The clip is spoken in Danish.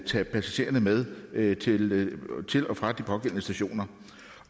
tage passagererne med med til til og fra de pågældende stationer